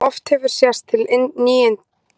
Oft hefur sést til nýdáinna